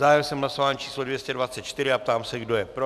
Zahájil jsem hlasování číslo 224 a ptám, se kdo je pro.